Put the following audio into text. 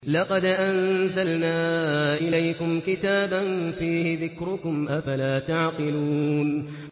لَقَدْ أَنزَلْنَا إِلَيْكُمْ كِتَابًا فِيهِ ذِكْرُكُمْ ۖ أَفَلَا تَعْقِلُونَ